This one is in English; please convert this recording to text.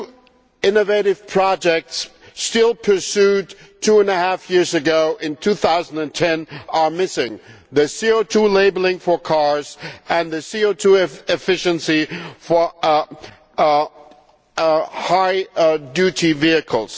Two innovative projects still pursued two and a half years ago in 2010 are missing the CO 2 labelling for cars and the CO 2 efficiency for heavy duty vehicles.